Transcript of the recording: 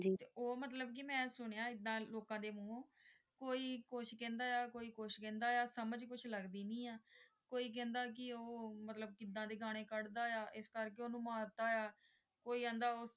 ਤੇ ਉਹ ਮੈਂ ਮਤਲਬ ਕਿ ਮੈਂ ਸੁਣੀਆ ਐਦਾਂ ਲੋਕਾਂ ਦੇ ਮੂੰਹੋਂ ਕੋਈ ਕੁਝ ਕਹਿੰਦਾ ਹੈ ਕੋਈ ਕੁਝ ਕਹਿੰਦਾ ਹੈ ਸਮਝ ਕੁਝ ਲੱਗਦੀ ਨਹੀਂ ਹੈ ਕੋਈ ਕਹਿੰਦਾ ਕਿ ਉਹ ਮਤਲਬ ਕਿੱਦਾਂ ਦੇ ਗਾਣੇ ਕੱਢਦਾ ਹੈ ਇਸ ਕਰਕੇ ਓਹਨੂੰ ਮਰਤਾ ਹੈ ਕੋਈ ਕਹਿੰਦਾ ਉਸ ਤੇ